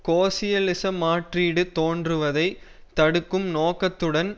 கோசியலிச மாற்றீடு தோன்றுவதை தடுக்கும் நோக்கத்துடன்